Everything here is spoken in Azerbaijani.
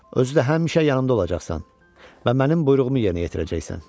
Özü də həmişə yanımda olacaqsan və mənim buyruğumu yerinə yetirəcəksən.